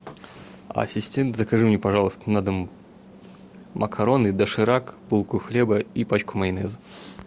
ассистент закажи мне пожалуйста на дом макароны доширак булку хлеба и пачку майонеза